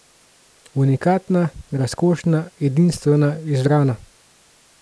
Unikatna, razkošna, edinstvena, izbrana.